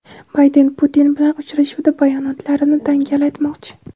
Bayden Putin bilan uchrashuvda bayonotlarini dangal aytmoqchi.